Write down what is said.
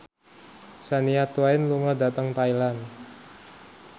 Shania Twain lunga dhateng Thailand